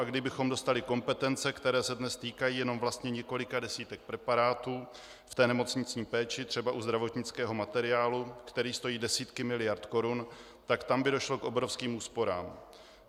A kdybychom dostali kompetence, které se dnes týkají jenom vlastně několik desítek preparátů v té nemocniční péči, třeba u zdravotnického materiálu, který stojí desítky miliard korun, tak tam by došlo k obrovským úsporám.